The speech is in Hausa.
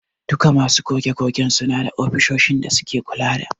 Duku masu goge-gogen suna da ofisoshin da suke kula da.